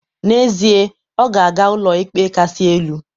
N'ezie, ọ ga-aga Ụlọikpe Kasị Elu